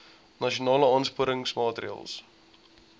nasionale aansporingsmaatre ls